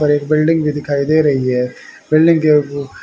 और एक बिल्डिंग भी दिखाई दे रही है। बिल्डिंग के उ--